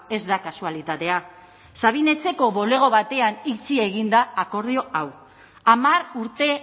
ez da kasualitatea sabin etxeko bulego batean itxi egin da akordio hau hamar urte